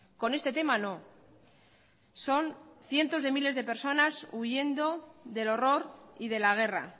con este tema no son cientos de miles de personas huyendo del horror y de la guerra